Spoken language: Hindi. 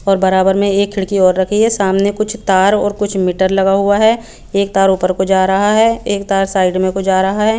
और बरा बर में एक खिड़की और रखी है सामने कुछ तार और कुछ मीटर लगा हुआ है एक तार उपर को जा रहा है एक तार साइड में को जा रहा है।